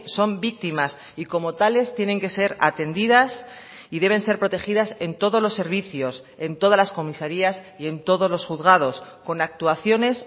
son víctimas y como tales tienen que ser atendidas y deben ser protegidas en todos los servicios en todas las comisarías y en todos los juzgados con actuaciones